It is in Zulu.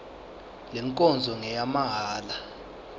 le nkonzo ngeyamahala